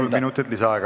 Kolm minutit lisaaega.